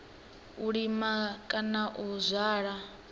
u lima kana u zwala